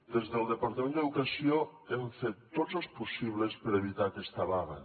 des del departament d’educació hem fet tots els possibles per evitar aquesta vaga